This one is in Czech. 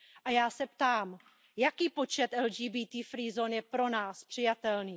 A já se ptám Jaký počet LGBT free zón je pro nás přijatelný?